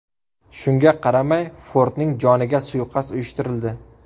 Shunga qaramay Fordning joniga suiqasd uyushtirildi.